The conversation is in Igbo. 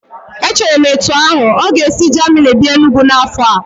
Echere m etu ahu, ọ ga-esi Jamini bịa Enugwu n'afọ a